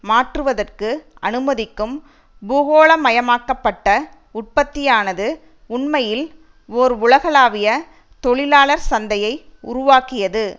மாற்றுவதற்கு அனுமதிக்கும் பூகோளமயமாக்கப்பட்ட உற்பத்தியானது உண்மையில் ஓர் உலகளாவிய தொழிலாளர் சந்தையை உருவாக்கியது